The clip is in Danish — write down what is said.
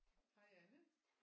Hej Anne